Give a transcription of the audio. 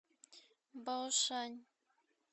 баошань